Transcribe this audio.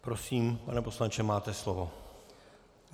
Prosím, pane poslanče, máte slovo.